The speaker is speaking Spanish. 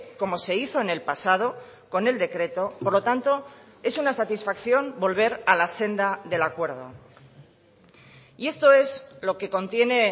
como se hizo en el pasado con el decreto por lo tanto es una satisfacción volver a la senda del acuerdo y esto es lo que contiene